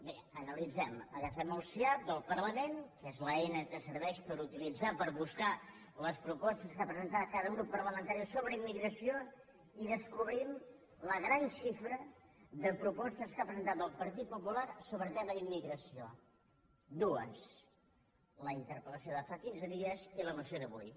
bé analitzem agafem el siap del parlament que és l’eina que serveix per utilit·zar per buscar les propostes que ha presentat cada grup parlamentari sobre immigració i descobrim la gran xi·fra de propostes que ha presentat el partit popular so·bre el tema d’immigració dues la interpel·lació de fa quinze dies i la moció d’avui